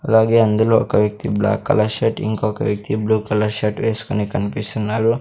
అలాగే అందులో ఒక వ్యక్తి బ్లాక్ కలర్ షర్ట్ ఇంకొక వ్యక్తి బ్లూ కలర్ షర్ట్ వేసుకొని కనిపిస్తున్నారు.